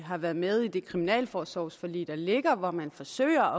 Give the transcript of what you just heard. har været med i det kriminalforsorgsforlig der ligger hvor man forsøger